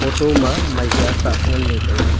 to ma maikya sah ngan le taile.